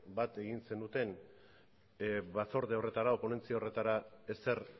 bat egin zenuten batzorde horretara o ponentzia horretara ezer